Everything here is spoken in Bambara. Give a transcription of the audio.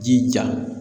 Jija